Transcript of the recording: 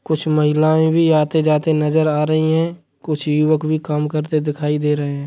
कुछ महिलाएं भी आते जाते नजर आ रही हैं। कुछ युवक भी काम करते दिखाई दे रहे हैं।